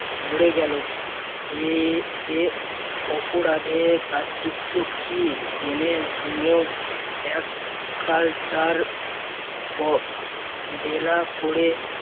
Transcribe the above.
মরে গেল এ এ অপরাধের প্রায়শ্চিত্ত কি? জেনেশুনেও এক culture বেলা করে